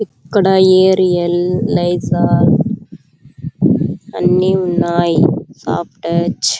ఇక్కడ Ariel Lizol అన్నీ ఉన్నాయ్ సాఫ్టు టచ్ --